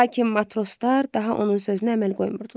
Lakin matroslar daha onun sözünə əməl qoymurdular.